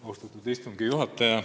Austatud istungi juhataja!